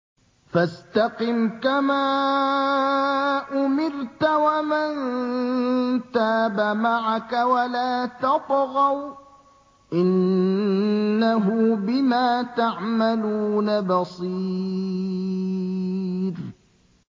فَاسْتَقِمْ كَمَا أُمِرْتَ وَمَن تَابَ مَعَكَ وَلَا تَطْغَوْا ۚ إِنَّهُ بِمَا تَعْمَلُونَ بَصِيرٌ